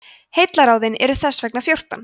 heillaráðin eru þess vegna fjórtán